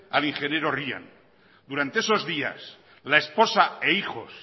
al ingeniero ryan durante esos días la esposa e hijos